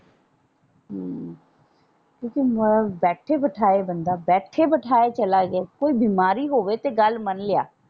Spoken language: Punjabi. ਹਮ ਕਿਉਂਕਿ ਬੈਠੇ ਬਿਠਾਏ ਬੰਦਾ ਬੈਠੇ ਬਿਠਾਏ ਚਲਾ ਜਾਏ ਕੋਈ ਬਿਮਾਰੀ ਹੋਵੇ ਤੇ ਗੱਲ ਮੰਨ ਲਿਆ।